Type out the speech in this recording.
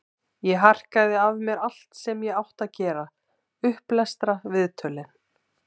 Ég harkaði af mér allt sem ég átti að gera, upplestra, viðtöl.